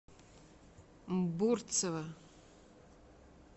бурцева